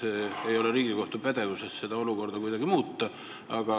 Ma saan aru, et Riigikohtu pädevuses ei ole seda olukorda muuta, aga ikkagi.